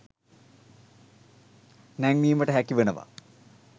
නැංවීමට හැකි වෙනවා